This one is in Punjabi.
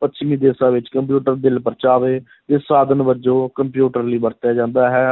ਪੱਛਮੀ ਦੇਸ਼ਾਂ ਵਿੱਚ ਕੰਪਿਊਟਰ ਦਿਲ-ਪਰਚਾਵੇ ਦੇ ਸਾਧਨ ਵਜੋਂ ਕੰਪਿਊਟਰ ਲਈ ਵਰਤਿਆ ਜਾਂਦਾ ਹੈ